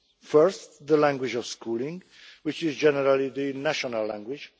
First is the language of schooling, which is generally the national language